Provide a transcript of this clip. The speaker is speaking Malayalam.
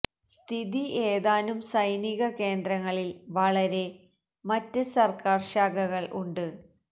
സ്ഥിതി ഏതാനും സൈനിക കേന്ദ്രങ്ങളിൽ വളരെ മറ്റ് സർക്കാർ ശാഖകൾ ഉണ്ട്